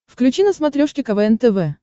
включи на смотрешке квн тв